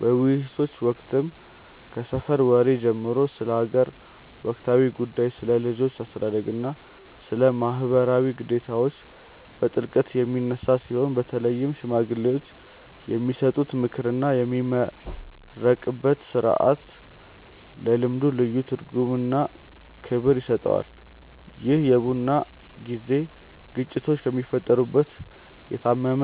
በውይይቶች ወቅትም ከሰፈር ወሬ ጀምሮ ስለ አገር ወቅታዊ ጉዳዮች፣ ስለ ልጆች አስተዳደግና ስለ ማኅበራዊ ግዴታዎች በጥልቀት የሚነሳ ሲሆን፣ በተለይም ሽማግሌዎች የሚሰጡት ምክርና የሚመረቅበት ሥርዓት ለልምዱ ልዩ ትርጉምና ክብር ይሰጠዋል። ይህ የቡና ጊዜ ግጭቶች የሚፈቱበት፣ የታመመ